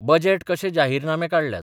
Budget कशे जाहीरनामे काडल्यात.